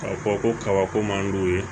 K'a fɔ ko kabako man d'u ye